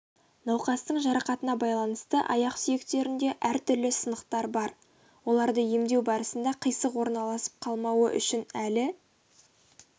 науқастың жарақатына байланысты аяқ сүйектерінде әртүрлі сынықтар бар оларды емдеу барысында қисық орналасып қалмауы үшін әлі